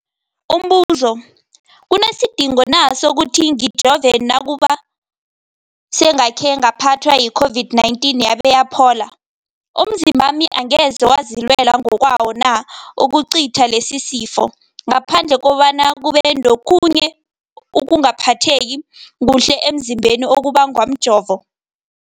Umbuzo, kunesidingo na sokuthi ngijove nakube sengakhe ngaphathwa yi-COVID-19 yabe yaphola? Umzimbami angeze wazilwela ngokwawo na ukucitha lesisifo, ngaphandle kobana kube nokhunye ukungaphatheki kuhle emzimbeni okubangwa mjovo?